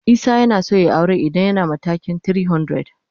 Isah yanaso yayi aure idan yana matakin 300.